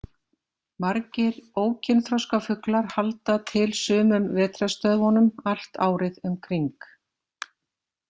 Margir ókynþroska fuglar halda til sumum vetrarstöðvunum allt árið um kring.